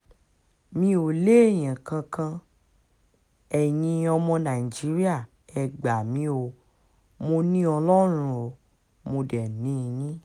mi ò léèyàn kankan eyín ọmọ nàìjíríà ẹ gbà mí o mọ́ ni ọlọ́run ò mọ̀ dé ni yín